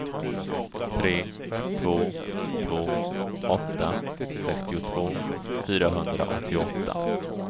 tre två två åtta sextiotvå fyrahundraåttioåtta